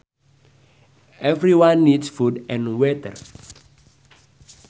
Everyone needs food and water